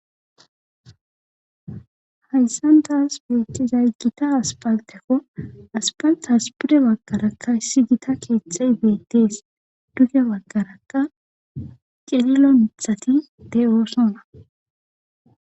Hayssan taas beettizay gita aspaltekko aspalta aspire baggarakka issi gita keeththey beettees duge baggarakka qelilo mithati de7oosona